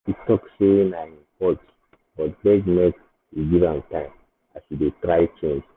e talk say na him fault but beg make we give am time as e dey try change.